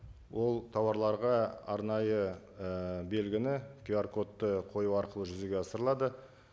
ол тауарларға арнайы ы белгіні кюар кодты қою арқылы жүзеге асырылады